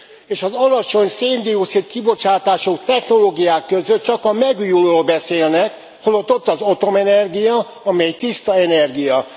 És az alacsony szén dioxid kibocsátású technológiák között csak a megújulóról beszélnek holott ott van az atomenergia, amely tiszta energia.